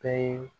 Bɛɛ ye